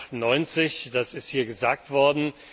1998. Das ist hier gesagt worden.